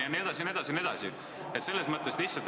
Jne, jne, jne.